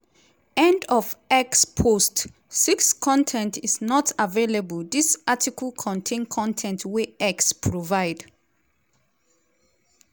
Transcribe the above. end of x post 6 con ten t is not available dis article contain con ten t wey x provide.